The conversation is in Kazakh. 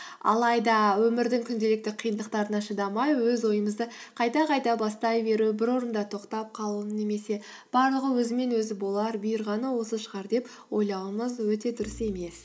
алайда өмірдің күнделікті қиындықтарына шыдамай өз ойымызды қайта қайта бастай беру бір орында тоқтап қалу немесе барлығы өзімен өзі болар бұйырғаны осы шығар деп ойлауымыз өте дұрыс емес